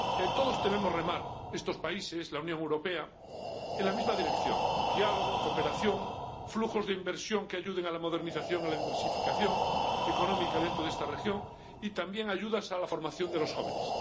Todos debemos remar —estos países, la Unión Europea— en la misma dirección diálogo, cooperación, flujos de inversión que ayuden a la modernización y a la diversificación económica dentro de esta región, y también ayudas a la formación de los jóvenes.